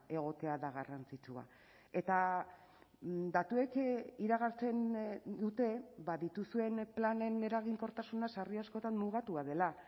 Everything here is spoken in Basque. egotea da garrantzitsua eta datuek iragartzen dute ba dituzuen planen eraginkortasuna sarri askotan mugatua dela